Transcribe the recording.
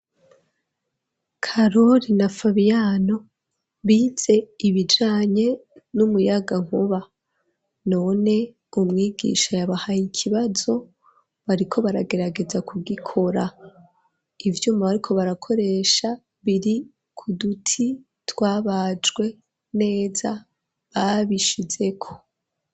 Karoli na Fabiano bize ibijanye n'umuyagankuba none umwigisha yabahaye ikibazo bariko baragerageza ku gikora ivyuma bariko barakoresha biri ku duti twabajwe neza babishizeko.